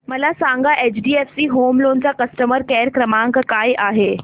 मला सांगा HDFC home loan चा कस्टमर केअर क्रमांक काय आहे